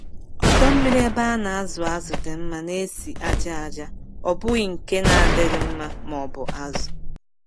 Ọdọ mmiri ebe a na-azụ azụ dị mma na-esi ájá aja, ọ bụghị nke na-adịghị mma maọbụ azụ.